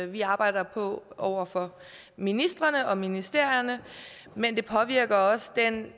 vi arbejder på over for ministrene og ministerierne men det påvirker også den